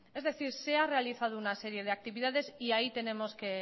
es decir se ha realizado una serie de actividades y ahí tenemos